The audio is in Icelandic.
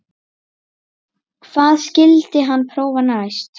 Hvað skyldi hann prófa næst?